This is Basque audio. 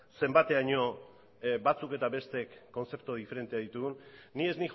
zenbaiteraino batzuk eta besteek kontzeptu diferenteak ditugun ni ez